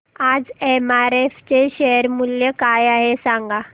आज एमआरएफ चे शेअर मूल्य काय आहे सांगा